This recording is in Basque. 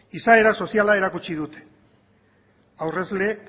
izaera soziala erakutsi dute aurrezle